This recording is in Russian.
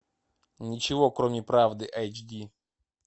ничего кроме правды эйч ди